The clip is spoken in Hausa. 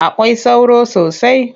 Akwai sauro sosai.